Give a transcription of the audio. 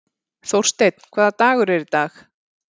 Þórsteinn, hvaða dagur er í dag?